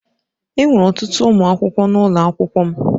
Enwere ọtụtụ ụmụ akwụkwọ n'ụlọ akwụkwọ m.